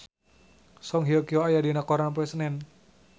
Song Hye Kyo aya dina koran poe Senen